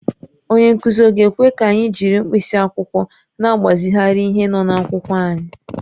Onye nkụzi ọ̀ ga-ekwe ka anyị jiri mkpịsị akwụkwọ na-agbazigharị ihe n’akwụkwọ anyị?